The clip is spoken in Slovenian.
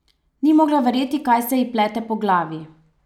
Ni mogla verjeti, kaj se ji plete po glavi.